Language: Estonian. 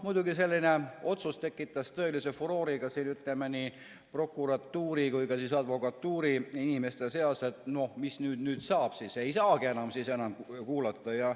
Muidugi, selline otsus tekitas tõelise furoori nii prokuratuuri kui ka advokatuuri inimeste seas, et mis nüüd siis saab, et ei saagi enam kuulata.